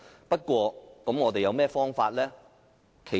不過，我們還有何方法？